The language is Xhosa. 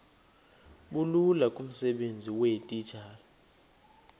bulula kumsebenzi weetitshala